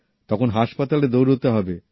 তখন হাসপাতালে দৌড়াতে হবে